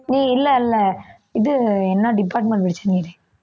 நீ இல்ல, இல்ல இது என்ன department படிச்ச